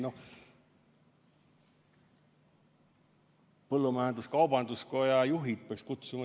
No siis peaks siia välja kutsuma põllumajandus-kaubanduskoja juhid.